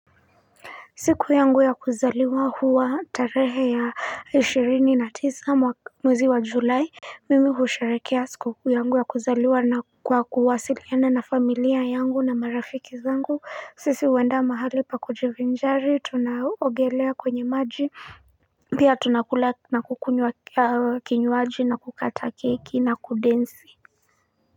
Siku yangu ya kuzaliwa huwa tarehe ya ishirini na tisa mwezi wa julai Mimi husharekea siku yangu ya kuzaliwa na kwa kuwasiliene na familia yangu na marafiki zangu sisi huenda mahali pa kujivinjari tunaogelea kwenye maji Pia tunakula na kukunywa kinywaji na kukata keki na kudensi.